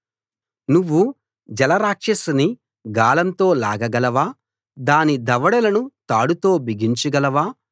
నువ్వు జలరాక్షసిని గాలంతో లాగగలవా దాని దవడలను తాడుతో బిగించగలవా